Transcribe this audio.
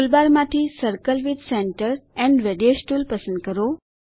ટૂલબારમાંથી circle with centre and radius tool પસંદ કરો